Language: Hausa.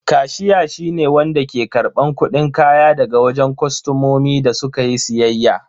Kashiya shi ne wanda ke karban kudin kaya daga wajen kostomomi da su ka yi siyayya.